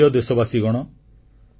ମୋ ପ୍ରିୟ ଦେଶବାସୀଗଣ